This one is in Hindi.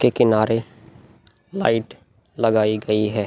के किनारे लाइट लगायी गयी है।